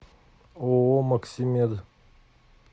ооо максимед